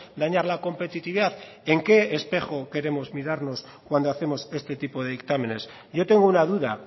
dañar la competitividad en qué espejo queremos mirarnos cuando hacemos este tipo de dictámenes yo tengo una duda